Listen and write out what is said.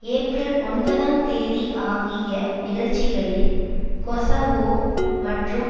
April ஒன்பதாம் தேதி ஆகிய நிகழ்ச்சிகளில் கொசவோ மற்றும்